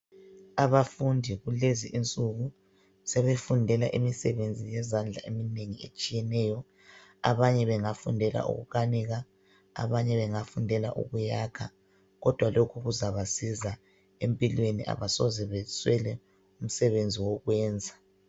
Abafundi kulezi insuku, sebefundela imisebenzi yezandla eminengi etshiyeneyo. Abanye bengafundela ukukanika, abanye bengafundela ukuyakha, kodwa lokhu kuzabasiza. Empilweni abasoze beswele imisebenzi yokuyenza.